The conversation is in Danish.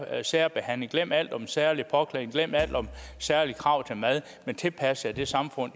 særbehandling glem alt om særlig påklædning glem alt om særlige krav til mad men tilpas jer det samfund